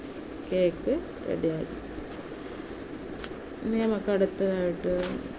cake ready ആയ. ഇനി നമുക്ക് അടുത്തതായിട്ട്